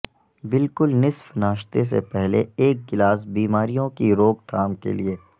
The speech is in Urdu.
بالکل نصف ناشتے سے پہلے ایک گلاس بیماریوں کی روک تھام کے لیے